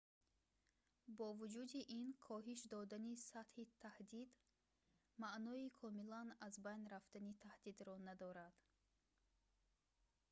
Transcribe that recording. бо вуҷуди ин коҳиш додани сатҳи таҳдид маънои комилан аз байн рафтани таҳдидро надорад